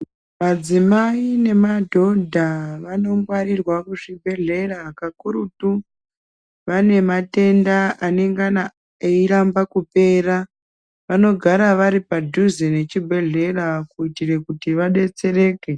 Madzimai nemadhodha vano ngwarirwa muzi bhedhlera kakurutu vane matenda anengana eiramba kupera vanogara varipa dhuze nechi bhedhlera kuitira kuti vadetsereke.